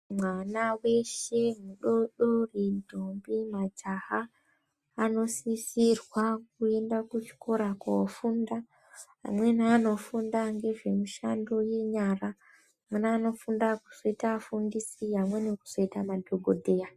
Mwana weshe mudodori, ndombi majaha anosisirwa kuenda kuchikora ko ofunda. Amweni anofunda ngezvemushando yenyara, amweni anofunda kuzoita afundisi, amweni kuzoita madhokodheya.